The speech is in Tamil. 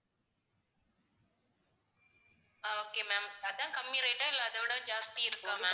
அஹ் okay ma'am அதான் கம்மி rate ஆ இல்ல அதைவிட ஜாஸ்தி இருக்கா ma'am